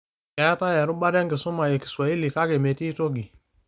Keetai erubata enkisuma e Kiswahli, kake metii toki